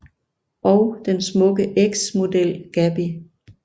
Og den smukke eks model Gaby